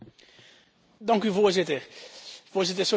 Sociale dumping is een heel reëel probleem.